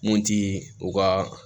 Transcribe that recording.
Mun ti u ka